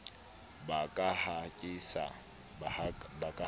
ba ka ha ke sa